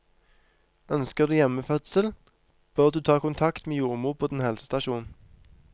Ønsker du hjemmefødsel, bør du ta kontakt med jordmor på din helsestasjon.